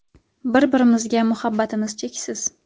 Bir-birimizga muhabbatimiz cheksiz.